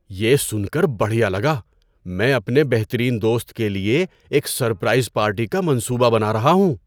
یہ سن کر بڑھیا لگا! میں اپنے بہترین دوست کے لیے ایک سرپرائز پارٹی کا منصوبہ بنا رہا ہوں۔